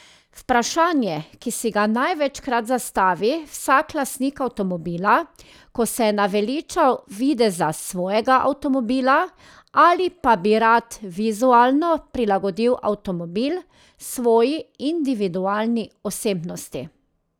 Vprašanje, ki si ga največkrat zastavi vsak lastnik avtomobila, ko se je naveličal videza svojega avtomobila ali pa bi rad vizualno prilagodil avtomobil svoji individualni osebnosti.